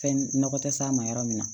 Fɛn nɔgɔ tɛ s'a ma yɔrɔ min na